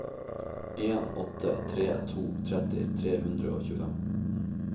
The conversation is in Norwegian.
en åtte tre to tretti tre hundre og tjuefem